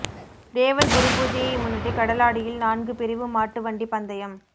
தேவர் குருபூஜையை முன்னிட்டு கடலாடியில் நான்கு பிரிவு மாட்டு வண்டி பந்தயம்